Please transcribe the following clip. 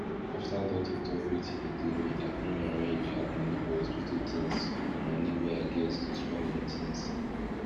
after doctor talk wetin dey do me i con rearrange add moni for hospital tins for moni wey i get to spend on tins